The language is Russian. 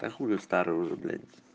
та хуле старый уже блять